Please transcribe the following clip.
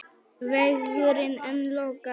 Vegurinn enn lokaður